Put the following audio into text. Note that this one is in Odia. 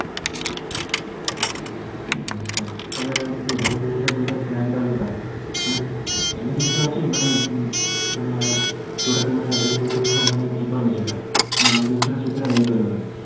ଆଚ୍ଛା ତାହେଲ ଯୋଊ health insurance ଯଉଟା plan ଟା ମାନେ ଏମିତି କିଛି ଅଛି ମାନେ ମାନେ ଯୋଉଟା କି ମାନେ health insurance ମାନେ ଯିବନି ସେଟା ମାନେ health insurance ସେଥିରେ ହେଇପାରିବନି